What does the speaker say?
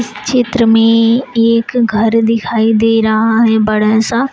चित्र में एक घर दिखाई दे रहा है बड़ा सा।